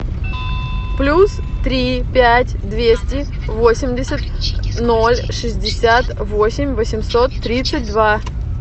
плюс три пять двести восемьдесят ноль шестьдесят восемь восемьсот тридцать два